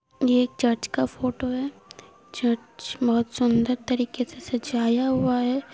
ये एक चर्च ( का फोटो है चर्च बहुत सुंदर तरीके से सजाया हुआ है।